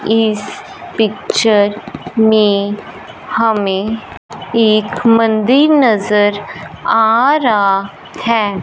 इस पिक्चर में हमें एक मंदिर नजर आ रा है।